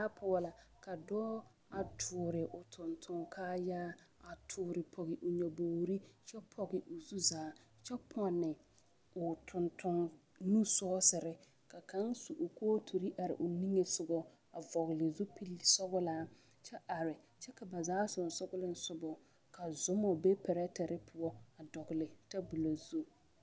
poɔ la ka dɔɔ a tuuri o tontonne kaaya a tuuro pɔge o nyɔbogri kyɛ pɔge o zu zaa kyɛ pɔnne o tontonne nu sɔɔsere ka kaŋ su o kootere are o niŋe sɔgɔ a vɔgle zupili sɔglaa kyɛ are kyɛ ka ba zaa sensɔgeleŋ ka soma be pɛrɛte poɔ a dɔgle taboli.